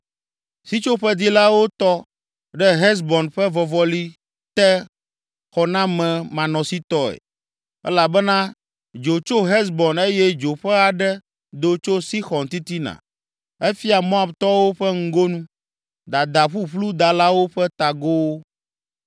“Sitsoƒedilawo tɔ ɖe Hesbon ƒe vɔvɔli te xɔnamemanɔsitɔe, elabena dzo tso Hesbon eye dzo ƒe aɖe do tso Sixɔn titina, efia Moabtɔwo ƒe ŋgonu, dada ƒuƒlu dalawo ƒe tagowo.